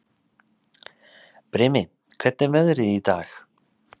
Brimi, hvernig er veðrið í dag?